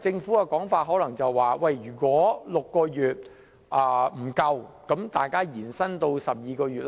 政府的說法是如果大家認為6個月的時間不足，可以延長至12個月。